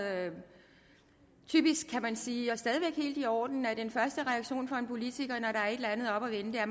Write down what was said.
typisk kan man sige og stadig væk helt i orden at en første reaktion fra en politiker er et eller andet oppe at vende er at